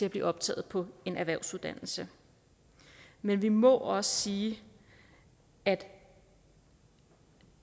at blive optaget på en erhvervsuddannelse men vi må også sige at